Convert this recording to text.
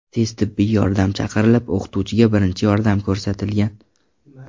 Tez tibbiy yordam chaqirilib, o‘qituvchiga birinchi yordam ko‘rsatilgan.